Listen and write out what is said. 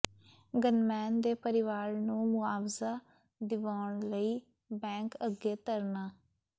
gunman ਦੇ ਪਰਿਵਾਰ ਨੂੰ ਮੁਆਵਜ਼ਾ ਦਿਵਾਉਣ ਲਈ ਬੈਂਕ ਅੱਗੇ ਧਰਨਾ